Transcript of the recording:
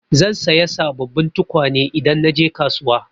Zan saya sabobbin tukwane idan na je kasuwa.